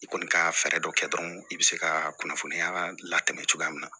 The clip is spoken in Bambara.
I kɔni ka fɛɛrɛ dɔ kɛ dɔrɔn i be se ka kunnafoniya latɛmɛ cogoya min na